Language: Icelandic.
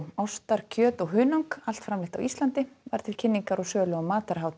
ostar kjöt og hunang allt framleitt á Íslandi var til kynningar og sölu á